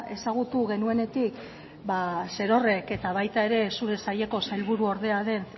ezagutu genuenetik zerorrek eta baita ere zure saileko sailburuordea den